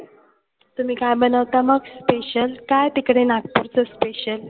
तुम्ही काय बनवता मग special काय तिकडे नागपुरच special?